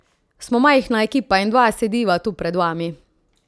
Smo majhna ekipa in dva sediva tu pred vami.